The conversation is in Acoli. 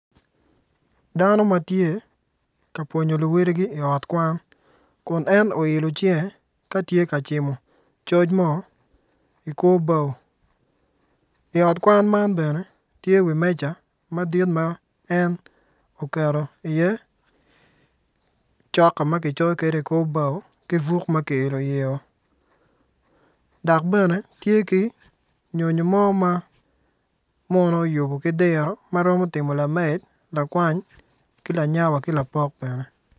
Dano ma tye ka pwonyo luwedigi i ot kwan kun en oilo cinge ka tye ka cimo coc mo i kor bao i ot kwan man bene tye wi meja madit ma en oketo iye cok ma kicoyo kwede i kor bao ki buk ma kielo iyeo dok bene tye ki nyonyo mo ma muno oyubo ki diro ma romo timo lamed lakwany ki lanya wa ki lapok bene.